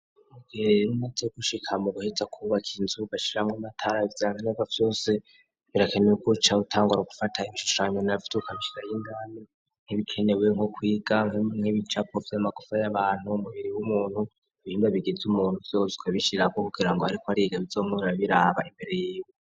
Mugeeneze gushika mu guheza kwubakaye inzuba ashiramwo matara vyankenevo vyose birakeneweukouca wutangura ugufata incushanyu na vyukamshira y'intami ntibikenewe nko kwiga mkwemu mkebe icapo vy'amagufa y'abantu b'umubiri w'umuntu bihinda bigiza umuntu vyozwe bishira abo kugira ngo, ariko ari igo bizomura biraba imbere yiwe.